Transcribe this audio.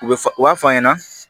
U bɛ fa u b'a f'a ɲɛna